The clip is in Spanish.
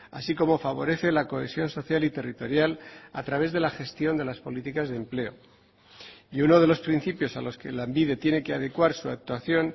así como favorece la cohesión social y territorial a través de la gestión de las políticas de empleo y uno de los principios a los que lanbide tiene que adecuar su actuación